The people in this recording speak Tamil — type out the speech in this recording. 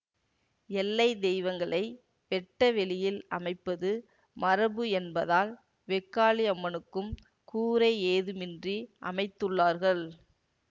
எல்லைத் தெய்வங்களை வெட்ட வெளியில் அமைப்பது மரபு என்பதால் வெக்காளியம்மனுக்கும் கூரை ஏதுமின்றி அமைத்துள்ளார்கள்